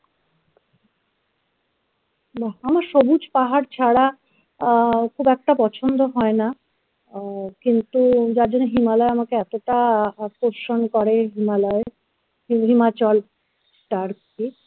সবুজ পাহাড় ছাড়া আহ খুব একটা পছন্দ হয় না আহ কিন্তু যার জন্য হিমালয় আমাকে এতটা আকর্ষণ করে himalaya কি himachal তারপীঠ